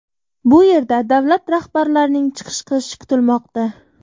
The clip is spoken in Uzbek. Bu yerda davlat rahbarlarining chiqish qilishi kutilmoqda.